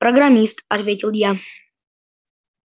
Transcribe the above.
программист ответил я